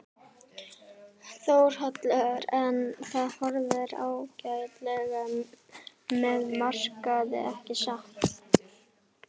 Þórhallur: En það horfir ágætlega með markaði ekki satt?